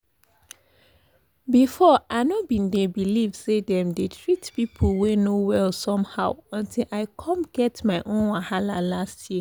before i no bin dey believe say dem dey treat people wey no well somehow until i come get my own wahala last year.